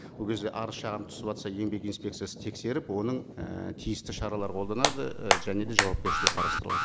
ол кезде арыз шағым түсіватса еңбек инспекциясы тексеріп оның і тиісті шаралар қолданады і және де жауапкершілік қарастырылады